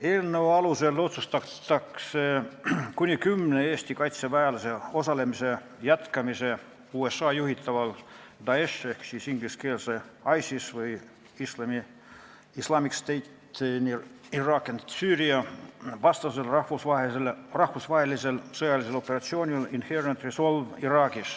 Eelnõu alusel otsustatakse kuni kümne Eesti kaitseväelase osalemise jätkamine Iraagis USA juhitaval Daeshi ehk ISIS-e vastasel rahvusvahelisel sõjalisel operatsioonil Inherent Resolve.